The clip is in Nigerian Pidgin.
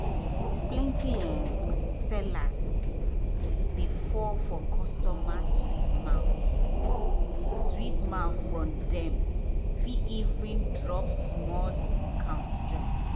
plenty um sellers dey fall for customers sweet mouth sweet mouth from dem fit even drop small discount join.